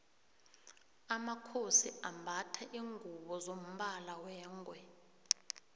amakhosi ambatha lingubo zombala wengwe